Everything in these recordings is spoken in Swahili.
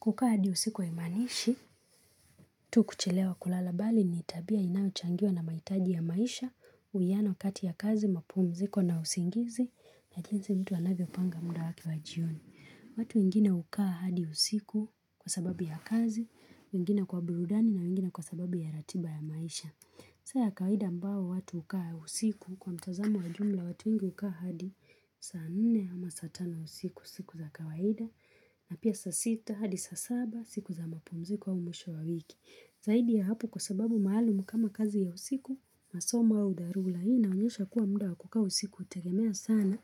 Kukaa hadi usiku haimanishi, tu kuchelewa kulala bali ni tabia inayochangiwa na maitaji ya maisha, uwiano kati ya kazi, mapumziko na usingizi, na jinsi mtu anavyo panga muda wake wa jioni. Watu wengine ukaa hadi usiku kwa sababu ya kazi, wengine kwa burudani na wengine kwa sababu ya ratiba ya maisha. Sa ya kawahida ambao watu ukaa usiku kwa mtazamo wa jumla watu wengi ukaa hadi saa nne ama saa tano usiku siku za kawahida na pia saa sita hadi saa saba siku za mapumziko au mwisho wa wiki. Zaidi ya hapo kwa sababu maalumu kama kazi ya usiku, masomo au dharura. Ina onyesha kuwa muda wakukaa usiku utegemea sana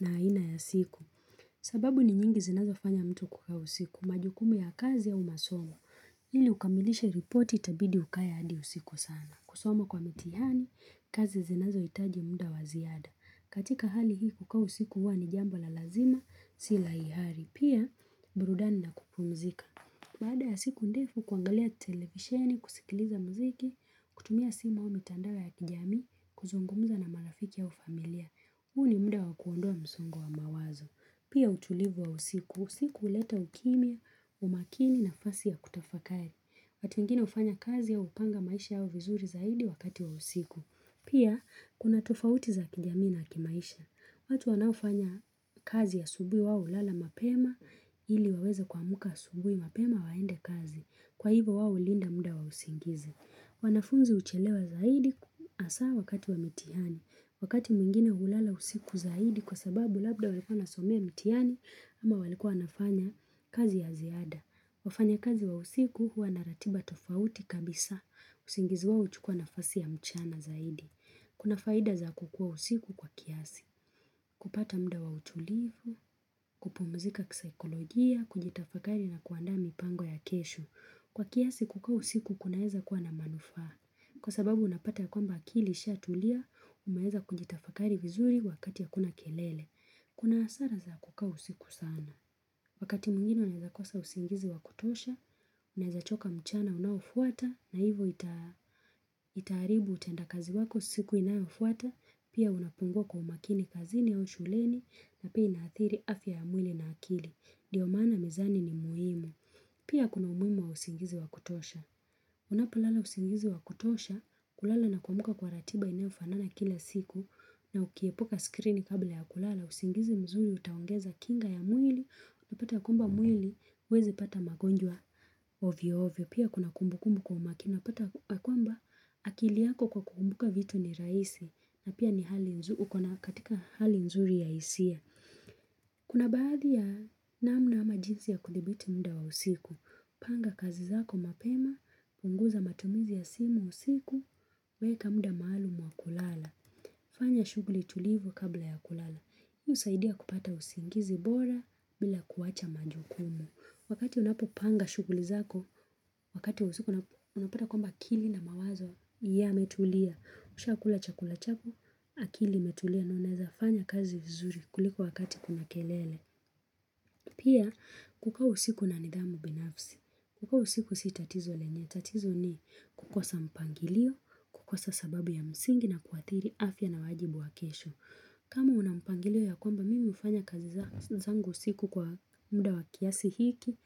na haina ya siku. Sababu ni nyingi zinazofanya mtu kukaa usiku, majukumu ya kazi au masomo. Ili ukamilishe reporti itabidi ukae hadi usiku sana. Kusoma kwa mitihani, kazi zinazo itaji muda waziada. Katika hali hii kukaa u siku huwa ni jambo la lazima, sila ihari. Pia, burudani na kupumzika. Baada ya siku ndefu, kuangalia televisheni, kusikiliza mziki, kutumia simu au mitandao ya kijamii, kuzungumza na marafiki au familia. Huu ni muda wa kuondoa msongo wa mawazo. Pia utulivu wa usiku, usiku uleta ukimia, umakini na fasi ya kutafakari. Watu wengine ufanya kazi au upanga maisha yao vizuri zaidi wakati wa usiku. Pia, kuna tofauti za kijamii na kimaisha. Watu wanaofanya kazi asubui wao ulala mapema ili waweze kuamuka asubui mapema waende kazi. Kwa hivo wao linda muda wausingizi. Wanafunzi uchelewa zaidi asaa wakati wa mitiani. Wakati mwingine hulala usiku zaidi kwa sababu labda walikuwa wanasomea mitiani ama walikua wanafanya kazi ya ziada. Wafanya kazi wa usiku huwa na ratiba tofauti kabisa. Usingizi wao uchukuwa nafasi ya mchana zaidi. Kuna faida za kukuwa usiku kwa kiasi. Kupata mda wa utulivu, kupumzika kisaikolojia, kujitafakari na kuandaa mi pango ya kesho. Kwa kiasi kukaa usiku kunaeza kuwa na manufaa. Kwa sababu unapata ya kwamba akili ishatulia, umeheza kunjita fakari vizuri wakati hakuna kelele. Kuna asara za kukaa usiku sana. Wakati mwingine unaweza kosa usingizi wa kutosha, unaeza choka mchana unaofuata na hivo itaaribu utenda kazi wako siku inaofuata, pia unapungua kwa umakini kazini au shuleni na pia inaathiri afya ya mwili na akili. Ndio maana mezani ni muhimu. Pia kuna umuhimu wa usingizi wa kutosha. Unapo lala usingizi wa kutosha, kulala na kuamuka kwa ratiba inayofanana kila siku, na ukiepuka screen kabla ya kulala, usingizi mzuri utaongeza kinga ya mwili, una pata kwamba mwili, uwezi pata magonjwa ovyo ovyo, pia kuna kumbu kumbu kwa umakini, una pata kwamba akili yako kwa kukumbuka vitu ni raisi, na pia ni hali nzuri, ukona katika hali nzuri ya isia. Kuna baadhi ya namna ama jinsi ya kudhibiti mda wa usiku Panga kazi zako mapema, punguza matumizi ya simu usiku Weka mda maalumu wa kulala fanya shuguli tulivu kabla ya kulala hii usaidia kupata usingizi bora bila kuwacha majukumu Wakati unapopanga shuguli zako Wakati usiku unapata kwamba akili na mawazo ya metulia Usha akula chakula chako, akili imetulia na unaezafanya kazi vizuri kuliko wakati kuna kelele. Pia, kukaa usiku na nidhamu binafsi. Kukaa usiku si tatizo lenye. Tatizo ni kukosa mpangilio, kukosa sababu ya msingi na kuathiri afya na wajibu wa kesho. Kama unampangilio ya kwamba mimi ufanya kazi zangu usiku kwa mda wa kiasi hiki,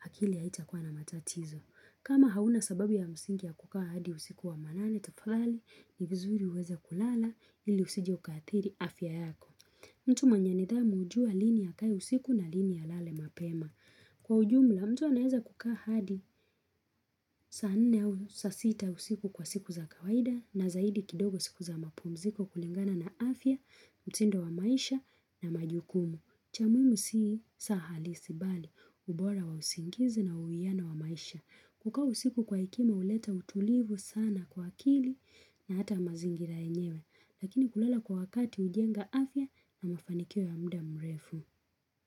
akili haitakuwa na matatizo. Kama hauna sababu ya msingi ya kukaa hadi usiku wa manane, Tufadhali ni vizuri uweze kulala ili usije ukaathiri afya yako. Mtu mwenye nithamu ujua lini akae usiku na lini alale mapema. Kwa ujum la mtu anaeza kukaa hadi saanne au saa sita usiku kwa siku za kawaida na zaidi kidogo siku za mapumziko kulingana na afya, mtindo wa maisha na majukumu. Chamuimu sii saa halisi bali ubora wa usingizi na uwiano wa maisha. Kukaa u siku kwa hekima uleta utulivu sana kwa akili na hata mazingira yenyewe Lakini kulala kwa wakati ujenga afya na mafanikio ya mda mrefu.